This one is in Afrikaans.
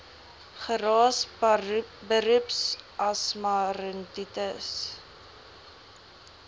geraas beroepsasma rinitis